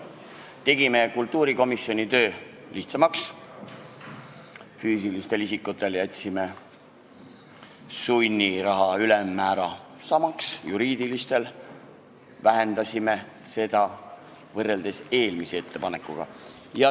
Tegime kultuurikomisjoni töö lihtsamaks ja jätsime füüsiliste isikute sunniraha ülemmäära samaks, juriidilistel isikutel vähendasime seda, võrreldes eelmise ettepanekuga.